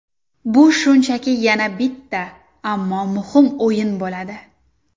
Bu shunchaki yana bitta, ammo muhim o‘yin bo‘ladi.